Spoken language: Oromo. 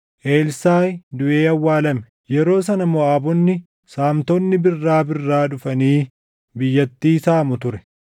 Elsaaʼi duʼee awwaalame. Yeroo sana Moʼaabonni saamtonni birraa birraa dhufanii biyyattii saamu ture.